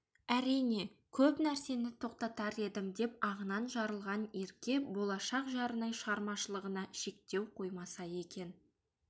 әрине көп нәрсені тоқтатар едім деп ағынан жарылған ерке болашақ жарының шығармашылығына шектеу қоймаса екен